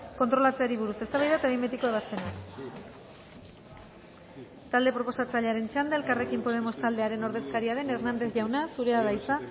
kontrolatzeari buruz eztabaida eta behin betiko ebazpena talde proposatzailearen txanda elkarrekin podemos taldearen ordezkaria den hernández jauna zurea da hitza